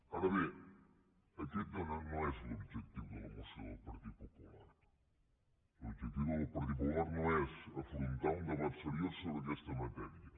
ara bé aquest no és l’objectiu de la moció de partit popular l’objectiu del partit popular no és afrontar un debat seriós sobre aquesta matèria